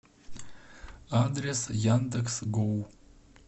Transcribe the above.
адрес яндекс гоу